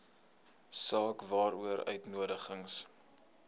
saak waaroor uitnodigings